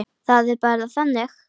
Það er bara þannig.